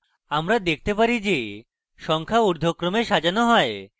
আমরা দেখতে পারি যে সংখ্যা ঊর্ধ্বক্রমে সাজানো হয়